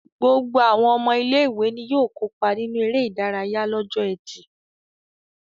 Gbogbo àwọn ọmọ ilé-ìwé ni yóò kópa nínú eré-idárayá lọ́jọ́ ẹtì.